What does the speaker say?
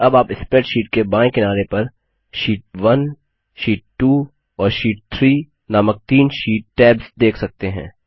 अब आप स्प्रैडशीट के बायें किनारे पर शीट1 शीट 2 और शीट 3 नामक तीन शीट टैब्स देख सकते हैं